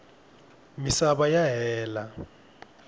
misava ya hela